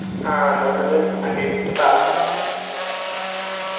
ആ എന്ന ഒന്ന് അന്വേഷിച്ചിട്ട് പറ